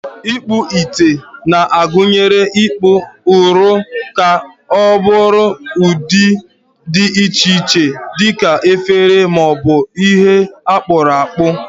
Ikpu ite na-agụnye ịkpụ ụrọ ka ọ bụrụ ụdị dị iche iche dị ka efere ma ọ bụ ihe akpuru akpu.